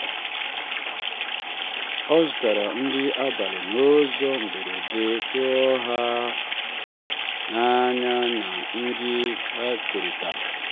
ọ zụtara nri abalị n’ụzọ mberede tụọ ha n’anya na nri ha kerịta.